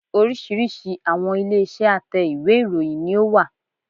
Oríṣìíríṣìí àwọn ilé iṣẹ́ a tẹ́ ìwé ìròyìn ni ó wà